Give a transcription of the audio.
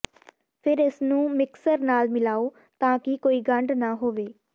ਫਿਰ ਇਸਨੂੰ ਮਿਕਸਰ ਨਾਲ ਮਿਲਾਓ ਤਾਂ ਕਿ ਕੋਈ ਗੰਢ ਨਾ ਹੋਵੇ